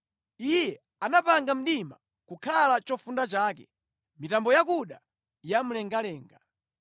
Iye anapanga mdima kukhala chofunda chake, mitambo yakuda ya mlengalenga.